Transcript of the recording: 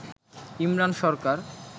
Imran Sarkar